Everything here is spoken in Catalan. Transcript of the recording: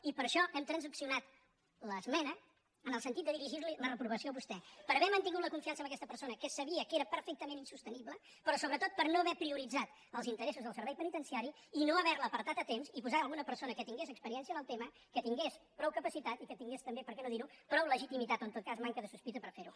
i per això hem transaccionat l’esmena en el sentit de dirigir·li la reprovació a vos·tè per haver mantingut la confiança en aquest persona que sabia que era perfectament insostenible però so·bretot per no haver prioritzat els interessos del servei penitenciari i no haver·lo apartat a temps i posar·hi al·guna persona que tingués experiència en el tema que tingués prou capacitat i que tingués també per què no dir·ho prou legitimitat o en tot cas manca de sospita per fer·ho